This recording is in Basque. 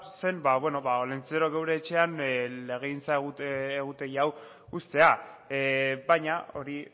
zen olentzero geure etxean legegintza egutegi hau uztea baina hori